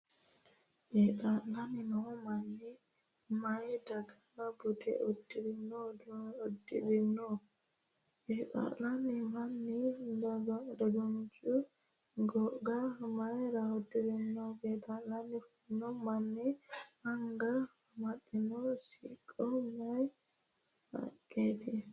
Qeexaa'lanni noo manni maayi daga budu uduunne uddirino ? Qeexaa'lanno manni dagunchu goga mayra uddiranno ? Qeexaalla fulino manni anga amaxxino siqqo maayi haqqaati ?